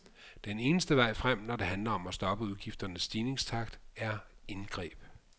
Den eneste vej frem, når det handler om at stoppe udgifternes stigningstakt, er indgreb.